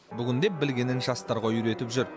бүгінде білгенін жастарға үйретіп жүр